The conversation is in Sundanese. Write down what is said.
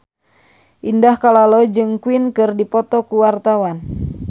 Indah Kalalo jeung Queen keur dipoto ku wartawan